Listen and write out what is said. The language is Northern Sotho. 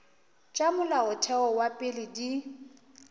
tša molaotheo wa pele di